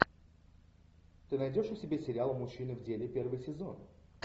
ты найдешь у себя сериал мужчины в деле первый сезон